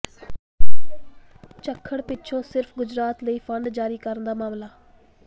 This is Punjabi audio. ਝੱਖੜ ਪਿੱਛੋਂ ਸਿਰਫ਼ ਗੁਜਰਾਤ ਲਈ ਫੰਡ ਜਾਰੀ ਕਰਨ ਦਾ ਮਾਮਲਾ